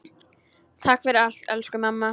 Takk fyrir allt, elsku mamma.